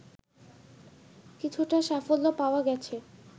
কিছুটা সাফল্য পাওয়া গেছে